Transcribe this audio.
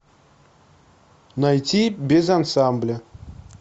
найти без ансамбля